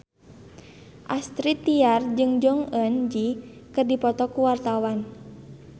Astrid Tiar jeung Jong Eun Ji keur dipoto ku wartawan